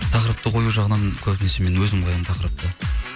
тақырыпты қою жағынан көбінесе мен өзім қоямын тақырыпты